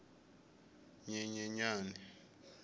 nyenyenyane